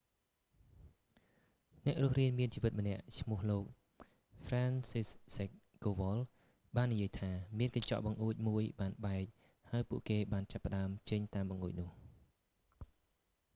អ្នករស់រានមានជីវិតម្នាក់ឈ្មោះលោក franciszek kowal ហ្វ្រានស៊ីសហ្សិក កូវល់ បាននិយាយថា មានកញ្ចក់បង្អួចមួយបានបែក ហើយពួកគេបានចាប់ផ្តើមចេញតាមបង្អួចនោះ